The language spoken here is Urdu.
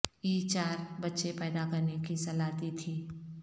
ی چار بچے پیدا کرنے کی صلاح دی تھی